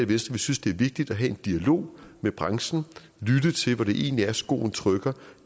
vi synes det er vigtigt at have en dialog med branchen og lytte til hvor det egentlig er skoen trykker